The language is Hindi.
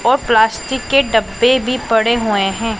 और प्लास्टिक के डब्बे भी पड़े हुए हैं।